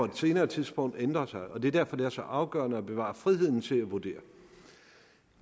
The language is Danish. på et senere tidspunkt ændre sig det er derfor det er så afgørende at bevare friheden til at vurdere